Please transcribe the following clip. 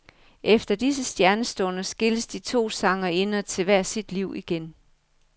Efter disse stjernestunder skilles de to sangerinder til hver sit liv igen.